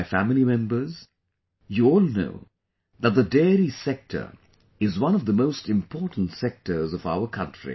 My family members, you all know that the Dairy Sector is one of the most important sectors of our country